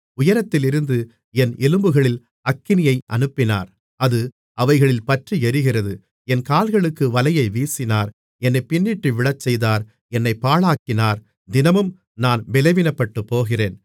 உயரத்திலிருந்து என் எலும்புகளில் அக்கினியை அனுப்பினார் அது அவைகளில் பற்றியெரிகிறது என் கால்களுக்கு வலையை வீசினார் என்னைப் பின்னிட்டு விழச்செய்தார் என்னைப் பாழாக்கினார் தினமும் நான் பெலவீனப்பட்டுப்போகிறேன்